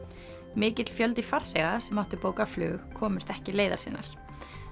mikill fjöldi farþega sem áttu bókað flug komst ekki leiðar sinnar